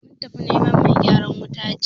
Mun tafi neman mai gyaran wuta ji.